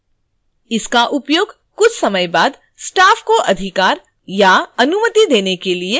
इसका उपयोग कुछ समय बाद staff को अधिकार / अनुमति देने के लिए किया जाएगा